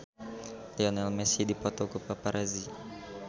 Lionel Messi dipoto ku paparazi